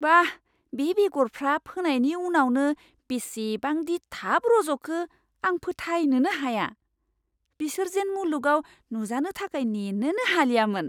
बाह, बे बेगरफ्रा फोनायनि उनावनो बिसिबांदि थाब रज'खो आं फोथायनोनो हाया। बिसोर जेन मुलुगाव नुजानो थाखाय नेनोनो हालियामोन!